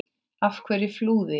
Af hverju flúði ég?